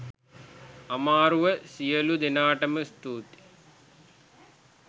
අමාරුව සියළු දෙනාටම ස්තුතියි.